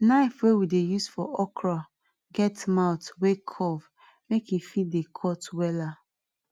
knife wey we dey use for okra get mouth wey curve make em fit dey cut wella